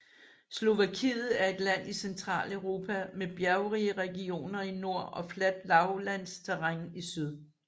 Slovakiet er et land i Centraleuropa med bjergrige regioner i nord og fladt lavlandsterræn i syd